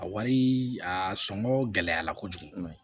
A wari a sɔngɔ gɛlɛyara kojugu